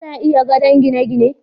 ana iya gadon gine gine